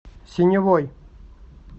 синевой